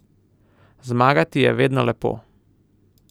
Zmagati je vedno lepo.